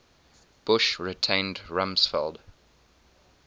bush retained rumsfeld